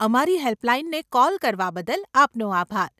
અમારી હેલ્પલાઈનને કોલ કરવા બદલ આપનો આભાર.